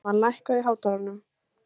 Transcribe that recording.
Kalmann, lækkaðu í hátalaranum.